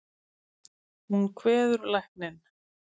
Hún kveður lækninn.